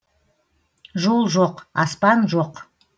жол жоқ аспан жоқ